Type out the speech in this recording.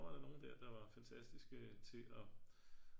Tror jeg der er nogen der var fantastiske til at